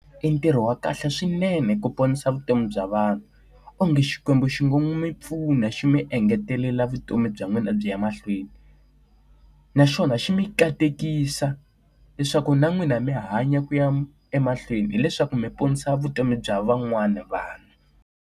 I ntirho wa kahle swinene ku ponisa vutomi bya vanhu. Onge Xikwembu xi nga n'wi pfuna xi mi engetelela vutomi bya n'wina byi ya mahlweni. Naswona xi mi katekisa leswaku na n'wina mi hanya ku ya emahlweni hileswaku mi ponisa vutomi bya van'wana vanhu.